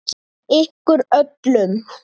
Ykkur öllum!